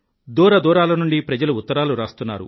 దూరదూరాలనుండి ప్రజలు ఉత్తరాలు రాస్తున్నారు